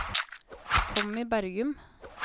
Tommy Bergum